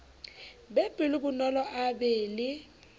be pelonolo a be le